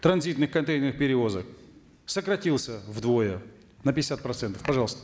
транзитных контейнерных перевозок сократился вдвое на пятьдесят процентов пожалуйста